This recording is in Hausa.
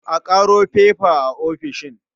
A ƙaro faifa a ofishin.